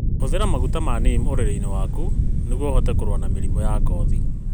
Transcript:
Hũthĩra maguta ma neem ũrĩrĩ-inĩ waku nĩguo ũhote kũrũa na mĩrimũ ya ngothi.